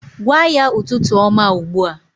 Gwa ya ụtụtụ ọma ugbu a